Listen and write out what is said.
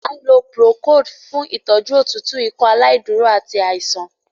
A ń lò procold fún ìtọjú òtútù Ikọaláìdúró àti àìsàn.